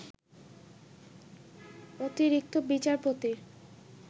অতিরিক্ত বিচারপতির